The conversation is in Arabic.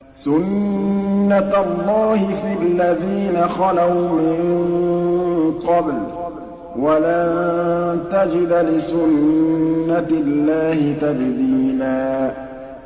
سُنَّةَ اللَّهِ فِي الَّذِينَ خَلَوْا مِن قَبْلُ ۖ وَلَن تَجِدَ لِسُنَّةِ اللَّهِ تَبْدِيلًا